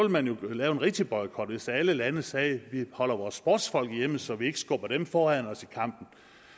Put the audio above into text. man jo lave en rigtig boykot hvis alle lande sagde vi holder vores sportsfolk hjemme så vi ikke skubber dem foran os i kampen